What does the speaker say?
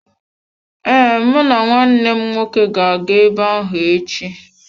Ee, mụ na nwanne m nwoke ga-aga ebe ahụ echi.